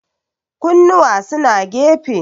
kunnuwa suna gefe